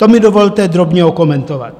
To mi dovolte drobně okomentovat.